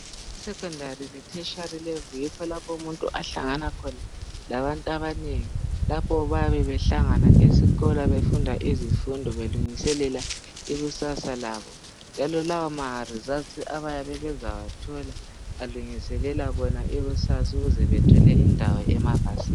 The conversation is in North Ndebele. Esecondary le thetshari level yikho lapho umuntu ahlangana khona labantu abanengi lapha bayabehlangana esikolo bafunda izifundo belungiselela ikusasa labo njalo lawa maresults abayabe bezawathola bazilungiselela bona ikusasa ukuze bethole indawo ema yunivesithi.